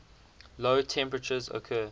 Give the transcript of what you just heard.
low temperatures occur